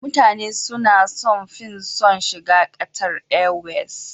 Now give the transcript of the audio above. Mutane suna sun fi son shiga Qatar airways